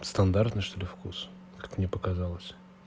стандартный что ли вкус как мне показалось